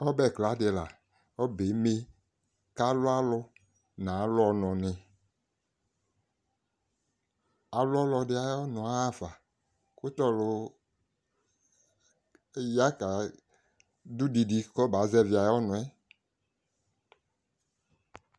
ɔbɛ kla di la ɔbɛ yɛ eme k'alu alò n'alu ɔnò ni alu ɔlo ɛdi ayi ɔnò ya ɣa fa kò t'ɔlò ya ta do didi k'ɔba zɛvi ayi ɔnò yɛ